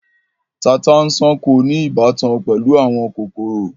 Tata-n-sánkọ ní ìbátan pẹ̀lú àwọn kòkòrò.